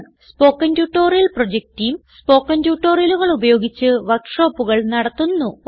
spoken tutorial project team spoken ട്യൂട്ടോറിയലുകൾ ഉപയോഗിച്ച് വർക്ക് ഷോപ്പുകൾ നടത്തുന്നു